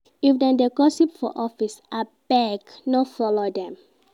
If dem dey gossip for office, abeg no folo dem.